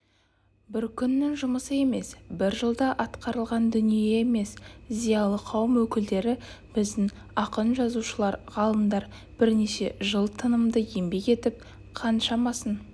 бір күннің жұмысы емес бір жылда атқарылған дүние емес зиялы қауым өкілдері біздің ақын-жазушылар ғалымдар бірнеше жыл тынымды еңбек етіп қаншамасын